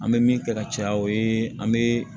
An bɛ min kɛ ka caya o ye an bɛ